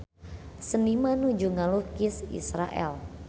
Seniman nuju ngalukis Israel